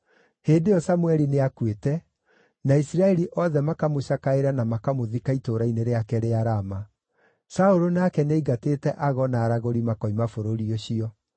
Hĩndĩ ĩyo Samũeli nĩakuĩte, na Isiraeli othe makamũcakaĩra na makamũthika itũũra-inĩ rĩake rĩa Rama. Saũlũ, nake nĩaingatĩte ago na aragũri makoima bũrũri ũcio.